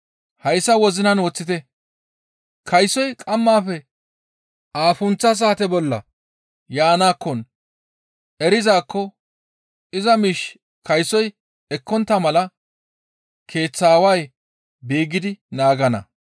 Hayssa wozinan woththite; kaysoy qammaafe aafuntha saate bolla yaanakkon erizaakko iza miish kaysoy ekkontta mala keeththaa aaway beeggidi naagana.